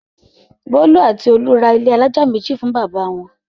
Bólú àti Olú ra ilé alájà méjì fún bàbá wọn.